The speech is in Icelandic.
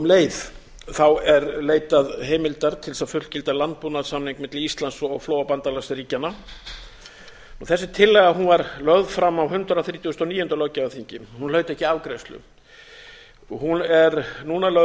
um leið er leitað heimildar til þess að fullgilda landbúnaðarsamnings milli íslands og flóabandalagsríkjanna þessi tillaga var lögð fram á hundrað þrítugasta og níunda löggjafarþingi en hlaut ekki afgreiðslu hún er núna lögð